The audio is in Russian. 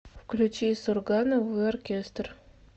включи сурганову и оркестр